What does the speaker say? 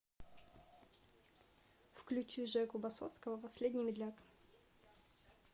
включи жеку басотского последний медляк